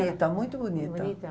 Bonita, muito bonita. Bonita?